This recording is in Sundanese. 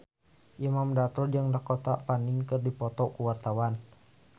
Imam Darto jeung Dakota Fanning keur dipoto ku wartawan